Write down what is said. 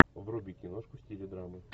вруби киношку в стиле драмы